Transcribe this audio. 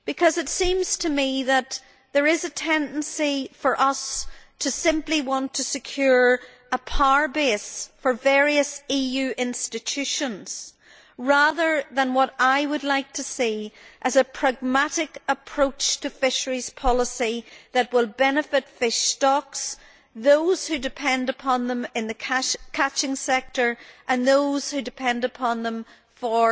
It seems to me that there is a tendency for us to simply want to secure a power base for various EU institutions, rather than what I would like to see as a pragmatic approach to fisheries policy that will benefit fish stocks, those who depend upon them in the catching sector and those who depend upon them for